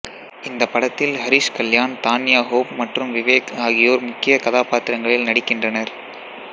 இந்த படத்தில் ஹரிஷ் கல்யாண் தான்யா ஹோப் மற்றும் விவேக் ஆகியோர் முக்கிய கதாபாத்திரங்களில் நடிக்கின்றனர்